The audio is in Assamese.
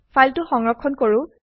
ফাইলটো সংৰক্ষণ কৰো